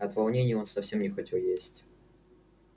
от волнения он совсем не хотел есть